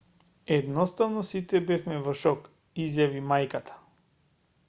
едноставно сите бевме во шок изјави мајката